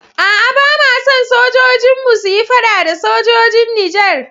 A'a, ba ma son sojojinmu su yi fada da sojojin Nijar.